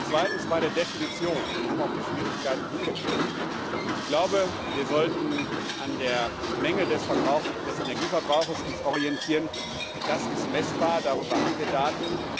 Zweitens bei der Definition Wir haben auf die Schwierigkeiten hingewiesen. Ich glaube, wir sollten uns an der Menge des Energieverbrauchs orientieren, das ist messbar, darüber haben wir Daten.